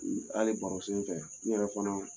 Hali baro senfɛ, n yɛrɛ fana